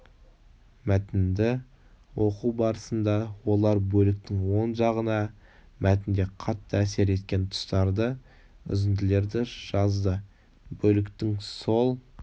мәтінді оқу барысында олар бөліктің оң жағына мәтінде қатты әсер еткен тұстарды үзінділерді жазды бөліктің сол